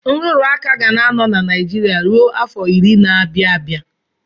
Nrụrụ aka ga na-anọ na Naijiria ruo afọ iri na-abịa abịa.